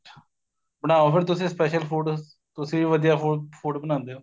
ਬਣਾਉ ਫੇਰ ਤੁਸੀਂ special food ਤੁਸੀਂ ਵੀ ਵਧੀਆ food ਬਣਾਂਦੇ ਓ